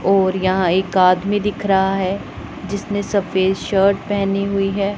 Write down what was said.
और यहां एक आदमी दिख रहा है जिसने सफेद शर्ट पहनी हुई है।